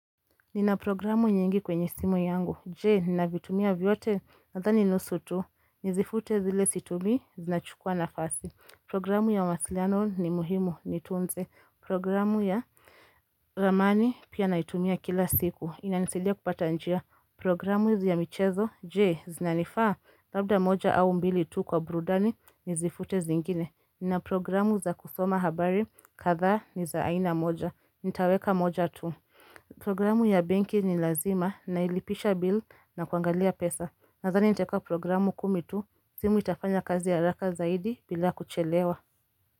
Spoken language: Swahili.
Nina programu nyingi kwenye simu yangu, jee, ninavitumia vyote, nadhani nusu tu, nizifute zile situmii, zinachukua nafasi, programu ya mawasliano ni muhimu, nitunze, programu ya ramani, pia naitumia kila siku, inanisaidia kupata njia, programu ya michezo, jee, zinanifaa, labda moja au mbili tu kwa burudani, nizifute zingine, nina programu za kusoma habari, kadhaa, ni za aina moja, nitaweka moja tu. Programu ya benki ni lazima na ilipisha bill na kuangalia pesa Nadhani nitaeka programu kumi tu simu itafanya kazi haraka zaidi bila kuchelewa.